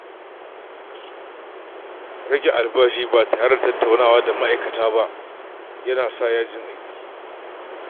Rage albashi ba tare da tattaunawa da ma’aikata ba ya na haifar da yajin aiki.